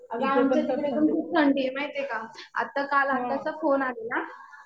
अगं आमच्या तिकडे पण खूप थंडी आहे माहितीये का. आता काल आत्याचा फोन आलेला.